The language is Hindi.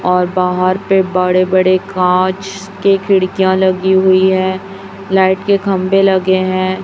और बाहर पे बड़े बड़े कांच के खिड़कियां लगी हुई हैं लाइट के खंभे लगे हैं।